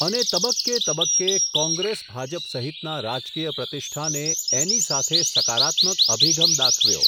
અને તબક્કે તબક્કે, કોંગ્રેસ ભાજપ સહિતના રાજકીય પ્રતિષ્ઠાને, એની સાથે સકારાત્મક અભિગમ દાખવ્યો.